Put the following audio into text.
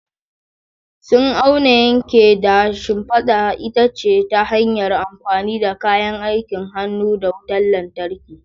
Sun auna, yanke, da siffata itace ta hanyar amfani da kayan aikin hannu da wutar lantarki.